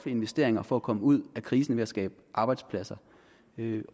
investeringer for at komme ud af krisen ved at skabe arbejdspladser